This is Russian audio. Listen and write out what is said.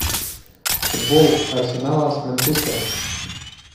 футбол арсенала с манчестером